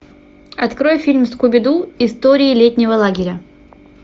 открой фильм скуби ду истории летнего лагеря